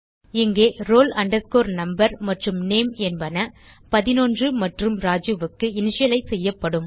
இங்கே roll number மற்றும் name என்பன 11 மற்றும் ராஜு க்கு இனிஷியலைஸ் செய்யப்படும்